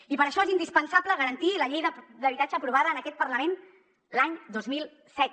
i per això és indispensable garantir la llei d’habitatge aprovada en aquest parlament l’any dos mil set